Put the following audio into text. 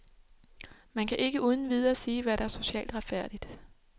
Man kan ikke uden videre sige, hvad der er socialt retfærdigt.